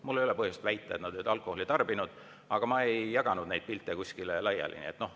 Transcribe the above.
Mul ei ole põhjust väita, et nad olid alkoholi tarbinud, aga ma ei jaganud neid pilte kuskile laiali.